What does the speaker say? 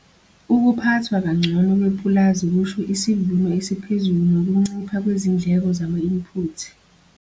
Ukuphathwa kangcono kwepulazi kusho isivuno esiphezulu nokuncipha kwezindleko zama-input.